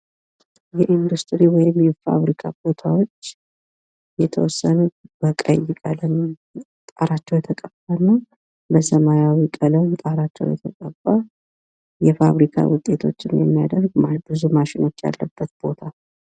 የኢንዱስትሪ ወይም የፋብሪካ ቦታዎች የተወሰኑት በቀይ ቀለም ጣራቸው የተቀባና በሰማያዊ ቀለም ጣራቸው የተቀባ የፋብሪካ ውጤቶችን የሚያደርግ ብዙ ማሽኖች ያለበት ቦታ።